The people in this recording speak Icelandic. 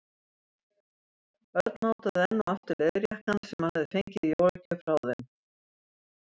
Örn mátaði enn og aftur leðurjakkann sem hann hafði fengið í jólagjöf frá þeim.